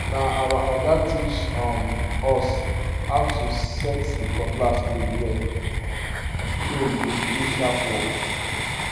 na our oga teach um us how to set the cutlass blade well um so e go do sharp work